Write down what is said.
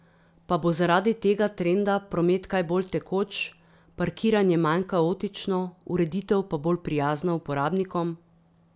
Pa bo zaradi tega trenda promet kaj bolj tekoč, parkiranje manj kaotično, ureditev pa bolj prijazna uporabnikom?